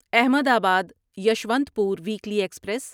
Ahmedabad Yesvantpur weekly express